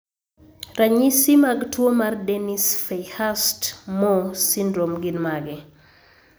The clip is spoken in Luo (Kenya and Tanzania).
Ranyisi mag tuwo mar Dennis Fairhurst Moore syndrome gin mage?